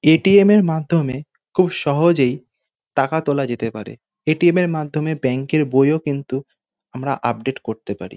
এ .T .M. -এর মাধ্যমে খুব সহজেই টাকা তোলা যেতে পারে। A .T .M. এর মাধ্যমে ব্যাংক -এর বইও কিন্তু আমরা আপডেট করতে পারি।